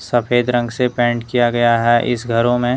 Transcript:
सफेद रंग से पेंट किया गया है इस घरों में--